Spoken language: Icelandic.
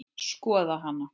Skoða hana?